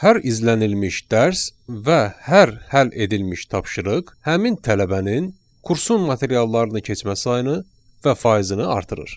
Hər izlənilmiş dərs və hər həll edilmiş tapşırıq həmin tələbənin kursun materiallarını keçmə sayını və faizini artırır.